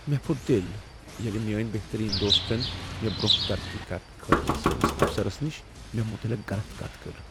مےٚ پھُٹ دل ییٚلہ میٲنۍ بہترین دوستن مےٚ برٛۄنٛہہ ترقی کرنہٕ خٲطرٕ سٲنس افسرس نش مےٚ متعلق غلط کتھ کٔر۔